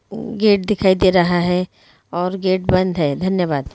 उ गेट दिखाई दे रहा है और गेट बंद हैं। धन्यवाद।